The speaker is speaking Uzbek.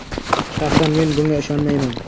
Shaxsan men bunga ishonmayman.